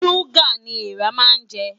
Ṣúgà ni eèrà máa ń jẹ.